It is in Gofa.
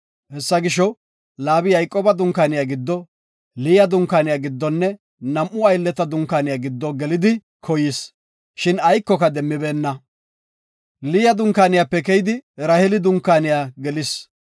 Hessa gisho, Laabi Yayqooba dunkaaniya giddo, Liya dunkaaniya giddonne nam7u aylleta dunkaaniya giddo gelidi koyis. Shin aykoka demmibeenna. Liya dunkaaniyape keyidi, Raheeli dunkaaniya gelis.